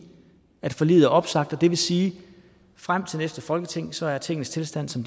forliget er opsagt og det vil sige at frem til næste folketingsvalg er tingenes tilstand som